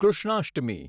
Krishnashtami